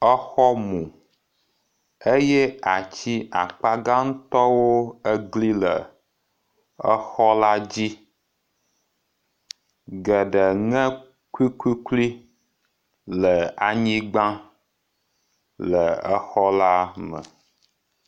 Exɔ mu eye atsi akpagãŋtɔwo egli le exɔ la dzi geɖe ŋe kukuklui le anyigba le exɔ la me.